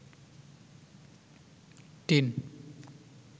tin